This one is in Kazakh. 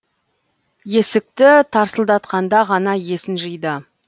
есікті тарсылдатқанда ғана есін жиды